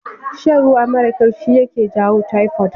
Shan ruwa marar kyau shi yaje jawo taifod